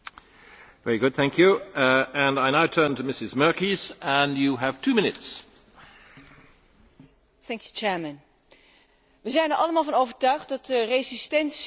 We zijn er allemaal van overtuigd dat de resistentie voor antibiotica een levensbedreigend gevaar is longontstekingen die niet meer te behandelen zijn, ziekenhuizen die kampen met MRSA gevallen,